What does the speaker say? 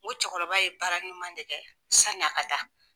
O cɛkɔrɔba ye bara ɲuman de kɛ sanni a ka taa.